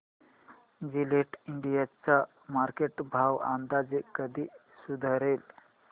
Gillette India चा market भाव अंदाजे कधी सुधारेल